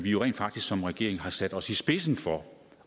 jo rent faktisk som regering har sat os i spidsen for